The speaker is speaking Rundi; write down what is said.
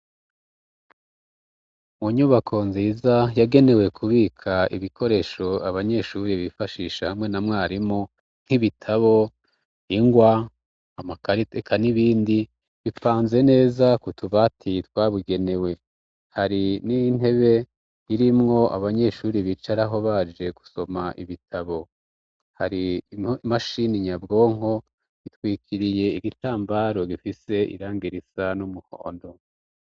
Munyubako nziza yagenewe kubika ibikoresho abanyeshuri bifashishe hamwe na mwarimu nk'ibitabo ingwa amakariteka n'ibindi bipfanze neza kutubati twabugenewe hari n'intebe irimwo abanyeshuri bicaraho baje gusoma ibitabo hari imashini nyabwonko gitwikiriye igitambaro gifise irang irisa n'umuhondo.